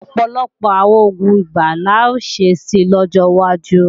Ọ̀pọ̀lọpọ̀ àwọn oògùn ibà la ó ṣe si lọ́jọ́ wájú